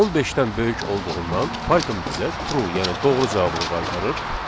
On beşdən böyük olduğundan Python bizə true, yəni doğru cavabını qaytarır.